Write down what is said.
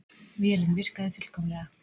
Vélin virkaði fullkomlega.